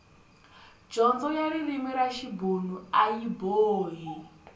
dyondzo ya ririmi ra xibuna ayi boha